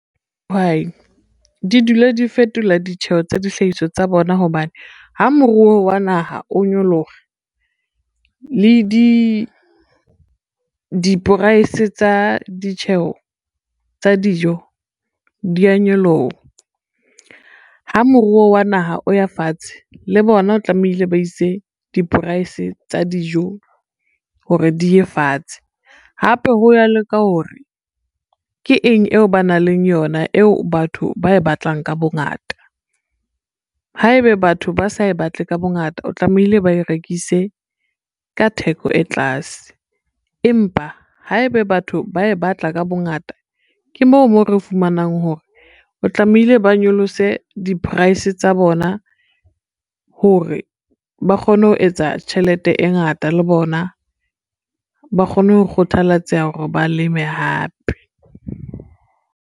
Dihwai di dula di fetola ditjheho tsa dihlahiswa tsa bona, hobane ha moruo wa naha o nyoloha le di-price tsa ditjheho tsa dijo dia nyoloha. Ha moruo wa naha o ya fatshe le bona o tlamehile ba ise di-price tsa dijo hore di ye fatshe, hape ha ya loka hore ke eng eo ba nang leng yona eo batho ba e batlang ka bongata. Haebe batho ba sa e batle ka bongata, o tlamehile ba e rekise ka theko e tlase empa haebe batho ba e batla ka bongata, ke moo mo re fumanang hore o tlamehile ba nyolose di-price tsa bona hore ba kgone ho etsa tjhelete e ngata, le bona ba kgone ho kgathalatseha hore ba leme hape.